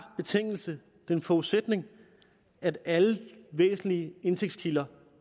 betingelse en forudsætning at alle væsentlige indtægtskilder